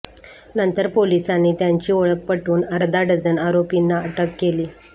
नंतर पोलिसांनी त्यांची ओळख पटवून अर्धा डझन आरोपींना अटक केली